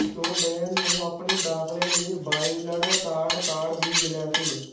ਚੋਡੇਨ ਨੂੰ ਆਪਣੀ ਦਾਖਲੇ ਲਈ ਵਾਈਲਡ ਕਾਰਡ ਕਾਰਡ ਵੀ ਮਿਲਿਆ ਸੀ